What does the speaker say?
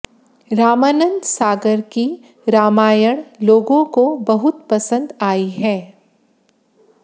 रामानंद सागर की रामायण लोगों को बहुत पसंद आई है